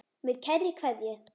Með kærri kveðju.